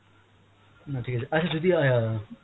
না ঠিকআছে , আচ্ছা যদি অ্যাঁ